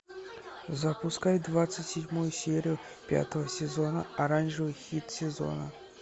запускай двадцать седьмую серию пятого сезона оранжевый хит сезона